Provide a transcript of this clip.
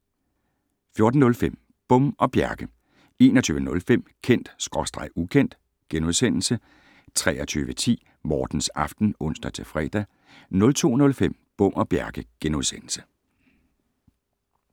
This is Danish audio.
14:05: Bom og Bjerke 21:05: Kendt/Ukendt * 23:10: Mortens Aften (ons-fre) 02:05: Bom og Bjerke *